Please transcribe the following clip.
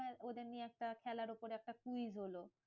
হ্যাঁ ওদের নিয়ে একটা খেলার উপর একটা quiz হলো।